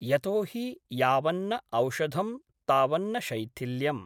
यतोहि यावन्न औषधं तावन्न शैथिल्यम्।